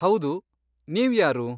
ಹೌದು. ನೀವ್ಯಾರು?